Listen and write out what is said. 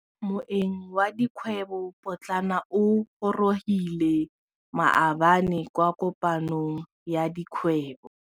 Moêng wa dikgwêbô pôtlana o gorogile maabane kwa kopanong ya dikgwêbô.